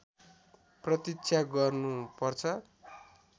प्रतीक्षा गर्नु पर्छ